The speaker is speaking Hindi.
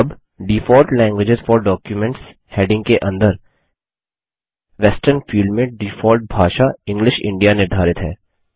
अब default language for documents heading के अंदर वेस्टर्न फील्ड में डिफॉल्ट भाषा इंग्लिश इंडिया निर्धारित है